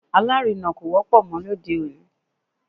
Alárinà kò wọ́pọ̀ mọ́ lóde òní